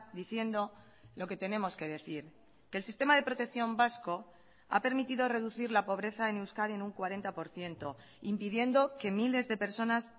diciendo lo que tenemos que decir que el sistema de protección vasco ha permitido reducir la pobreza en euskadi en un cuarenta por ciento impidiendo que miles de personas